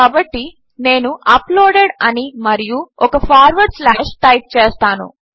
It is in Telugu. కాబట్టి నేను అప్లోడెడ్ అని మరియు ఒక ఫార్వర్డ్ స్లాష్ టైప్ చేస్తాను